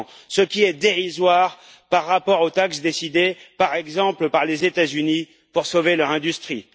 ce qui est dérisoire par rapport aux taxes décidées, par exemple par les États Unis pour sauver leur industrie.